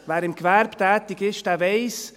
Wer im Gewerbe tätig ist, der weiss: